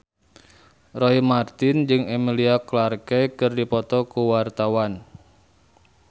Roy Marten jeung Emilia Clarke keur dipoto ku wartawan